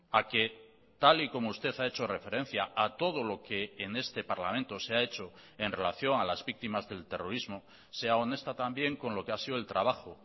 a que tal y como usted ha hecho referencia a todo lo que en este parlamento se ha hecho en relación a las víctimas del terrorismo sea honesta también con lo que ha sido el trabajo